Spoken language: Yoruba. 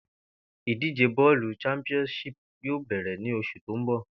Ìdíje bó̩ò̩lù championship yóò bè̩rè̩ ní os̩ù tó ń bò̩